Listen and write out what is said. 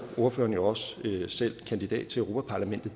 ordføreren jo også selv kandidat til europa parlamentet